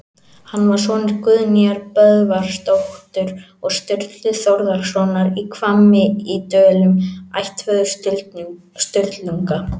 Hann var sonur Guðnýjar Böðvarsdóttur og Sturlu Þórðarsonar í Hvammi í Dölum, ættföður Sturlunga.